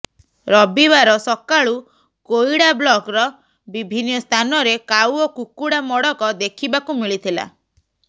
ରବିବାର ସକାଳୁ କୋଇଡ଼ା ବ୍ଲକର ବିଭିନ୍ନ ସ୍ଥାନରେ କାଉ ଓ କୁକୁଡ଼ା ମଡ଼କ ଦେଖିବାକୁ ମିଳିଥିଲା